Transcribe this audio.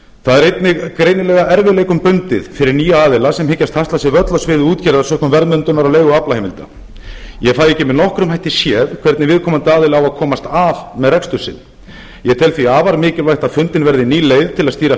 það er einnig greinilega erfiðleikum bundið fyrir nýja aðila sem hyggjast hasla sér völl á sviði útgerðar sökum verðmyndunar á leigu á aflaheimildum ég fæ ekki með nokkrum hætti séð hvernig viðkomandi aðili á að komast af með rekstur sinn ég tel því afar mikilvægt að fundin verði ný leið til að stýra